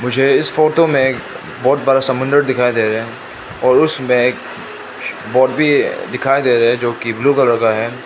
मुझे इस फोटो में एक बहोत बड़ा समुद्र दिखाई दे रहा और उसमें एक बोट भी दिखाई दे रहे जोकि ब्लू कलर का है।